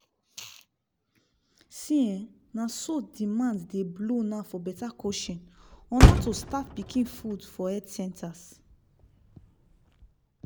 see eh na so demand dey blow now for better coaching on how to start pikin food for health centers!